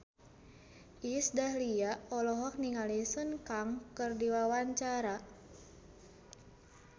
Iis Dahlia olohok ningali Sun Kang keur diwawancara